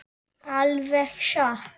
Alveg satt?